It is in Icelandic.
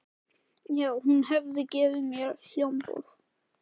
já, hún hafði gefið mér hljómborð.